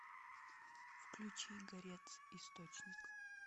включи горец источник